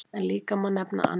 En líka má nefna annað.